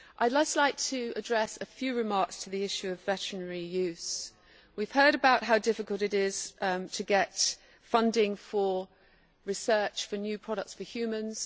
I would like to address a few remarks to the issue of veterinary use. We have heard about how difficult it is to get funding for research for new products for humans.